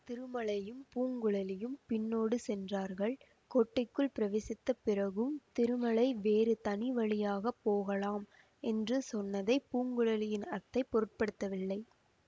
திருமலையும் பூங்குழலியும் பின்னோடு சென்றார்கள் கோட்டைக்குள் பிரவேசித்த பிறகும் திருமலை வேறு தனி வழியாக போகலாம் என்று சொன்னதைப் பூங்குழலியின் அத்தை பொருட்படுத்தவில்லை